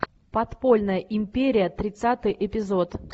подпольная империя тридцатый эпизод